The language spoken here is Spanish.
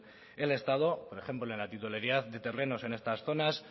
el estado por ejemplo en la titularidad de terrenos en estas zonas